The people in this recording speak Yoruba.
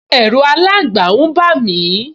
Ẹ̀ru aláǹgba n bà mí